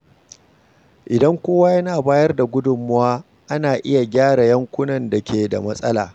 Idan kowa yana bayar da gudunmawa, ana iya gyara yankunan da ke da matsala.